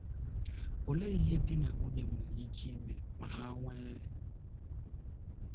Olee ihe di na nwunye nwere ike ime ma ha nwee